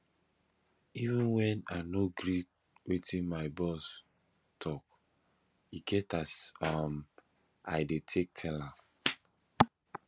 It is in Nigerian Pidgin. even wen i no gree wetin my boss talk e get as um i dey take tell am